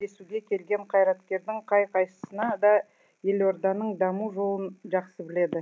кездесуге келген қайраткердің қай қайсысына да елорданың даму жолын жақсы біледі